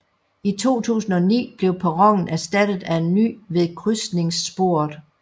I 2009 blev perronen erstattet af en ny ved krydsningssporet